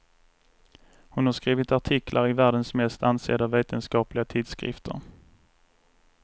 Hon har skrivit artiklar i världens mest ansedda vetenskapliga tidskrifter.